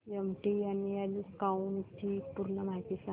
MTNL cloud ची पूर्ण माहिती सांग